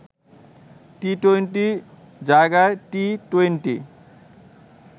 টি-টোয়েন্টির জায়গায় টি-টোয়েন্টি